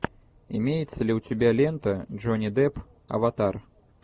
имеется ли у тебя лента джонни депп аватар